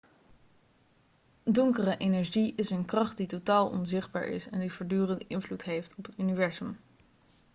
donkere energie is een kracht die totaal onzichtbaar is en die voortdurend invloed heeft op het universum